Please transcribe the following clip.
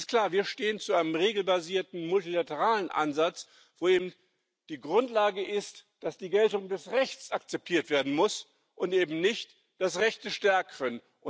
Es ist klar Wir stehen zu einem regelbasierten, multilateralen Ansatz, wo eben die Grundlage ist, dass die Geltung des Rechts akzeptiert werden muss und eben nicht das Recht des Stärkeren.